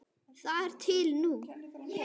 Þar til nú.